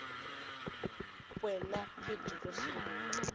we na pheji ro sungula